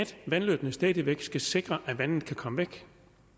vandløbene stadig væk skal sikre at vandet kan komme væk